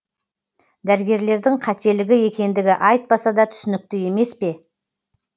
дәрігерлердің қателігі екендігі айтпаса да түсінікті емес пе